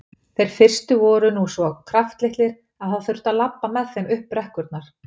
Þeir fyrstu voru nú svo kraftlitlir að það þurfti að labba með þeim upp brekkurnar.